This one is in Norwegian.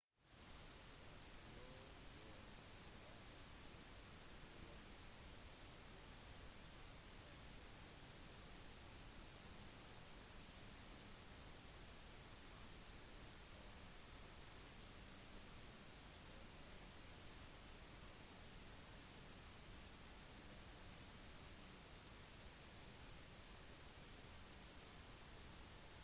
lovforslaget sier at voldelige dataspill solgt i delstaten california skal merkes med «18» og salg til en mindreårig skal være straffbart med en bot på 1000 dollar per krenkelse